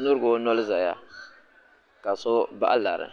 nurigi o noli zaya ka si bahi lari